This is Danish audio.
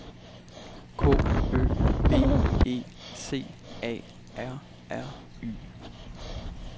K Ø B E C A R R Y